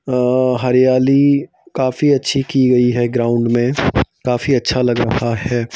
अ हरियाली काफी अच्छी की गई है ग्राउंड में काफी अच्छा लग रहा है।